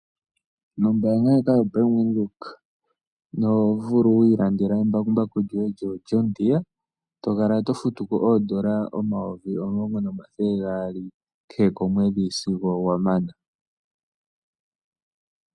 Nombaanga yobank Windhoek oto vulu oku ilandeka embakumbaku lyoye lyoJonh Deree eto kala to futu ko ondola omayovi 10 200 kehe komwedhi sigo wa mana.